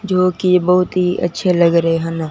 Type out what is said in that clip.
जो कि बहुत ही अच्छे लग रहे हैं ना।